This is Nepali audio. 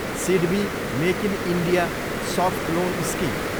SIDBI make in India soft loan scheme